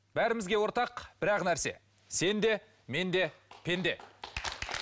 бәрімізге ортақ бір ақ нәрсе сен де мен де пенде